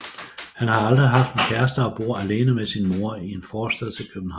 Han har aldrig haft en kæreste og bor alene med sin mor i en forstad til København